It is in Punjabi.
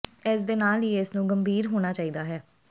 ਇਸ ਦੇ ਨਾਲ ਹੀ ਇਸ ਨੂੰ ਗੰਭੀਰ ਹੋਣਾ ਚਾਹੀਦਾ ਹੈ